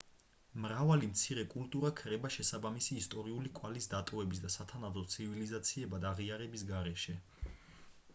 მრავალი მცირე კულტურა ქრება შესაბამისი ისტორიული კვალის დატოვების და სათანადო ცივილიზაციებად აღიარების გარეშე